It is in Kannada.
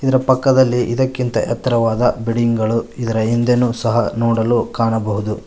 ಇದರ ಪಕ್ಕದಲ್ಲಿ ಇದಕ್ಕಿಂತ ಎತ್ತರವಾದ ಬಿಲ್ಡಿಂಗ್ ಗಳು ಇದರ ಹಿಂದೆನು ಸಹ ನೋಡಲು ಕಾಣಬಹುದು.